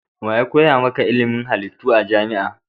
Wa ya koya maka ilimin halittu a jami'a?